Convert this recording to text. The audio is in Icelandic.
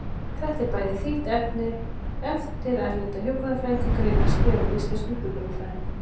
Þetta er bæði þýtt efni eftir erlenda hjúkrunarfræðinga og greinar skrifaðar af íslenskum hjúkrunarfræðingum.